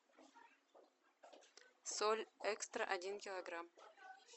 соль экстра один килограмм